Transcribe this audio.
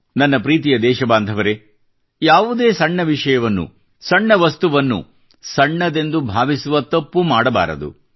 ನನ್ನ ಪ್ರೀತಿಯ ದೇಶಬಾಂಧವರೇ ಯಾವುದೇ ಸಣ್ಣ ವಿಷಯವನ್ನು ಸಣ್ಣ ವಸ್ತುವನ್ನು ಸಣ್ಣದೆಂದು ಭಾವಿಸುವ ತಪ್ಪು ಮಾಡಬಾರದು